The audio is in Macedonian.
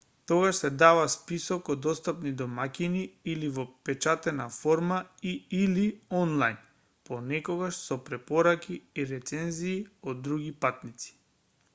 тогаш се дава список од достапни домаќини или во печатена форма и/или онлајн понекогаш со препораки и рецензии од други патници